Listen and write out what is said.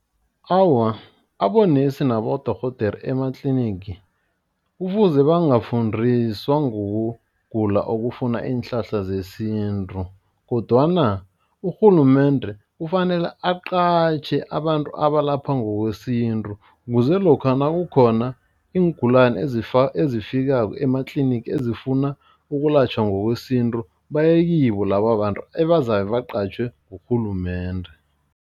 Awa, abonesi nabodorhodere ematlinigi. Kufuze bangafundiswa ngokugula okufuna iinhlahla zesintu kodwana urhulumende kufanele aqatjhe abantu abalapha ngokwesintu. Ukuze lokha nakukhona iingulani ezifikako ematlinigi ezifuna ukulatjhwa ngokwesintu baye kibo laba babantu ebazabe baqatjhwe ngurhulumende.